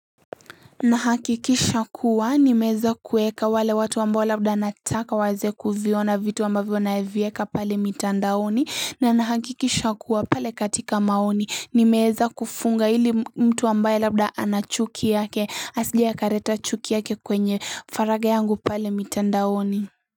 Nahakikisha kuwa nimeeza kuweka wale watu ambayo labda nataka waze kuviona vitu ambavyo navieka pale mitandaoni na nahakikisha kuwa pale katika maoni nimeeza kufunga ili mtu ambaye labda anachuki yake asije kaleta chuki yake kwenye farage yangu pale mitandaoni.